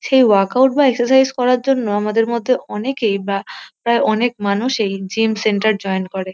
সেই ওয়ার্কআউট বা এক্সারসাইজ করার জন্য আমাদের মধ্যে অনেকেই বা প্রায় অনেক মানুষেই জিম সেন্টার জইন করে।